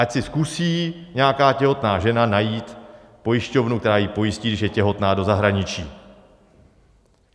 Ať si zkusí nějaká těhotná žena najít pojišťovnu, která ji pojistí, když je těhotná, do zahraničí.